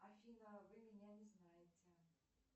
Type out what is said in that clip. афина вы меня не знаете